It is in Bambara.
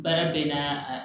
Baara bɛ na